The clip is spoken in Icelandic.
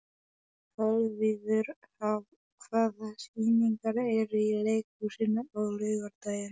Kolviður, hvaða sýningar eru í leikhúsinu á laugardaginn?